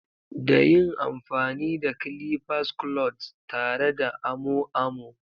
Da yin amfani da clippers clods tare da amo amo.